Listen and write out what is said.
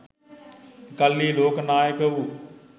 එකල්හි ලෝක නායක වූ